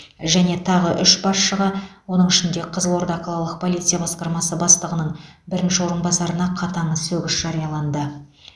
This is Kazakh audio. және тағы үш басшыға оның ішінде қызылорда қалалық полиция басқармасы бастығының бірінші орынбасарына қатаң сөгіс жарияланды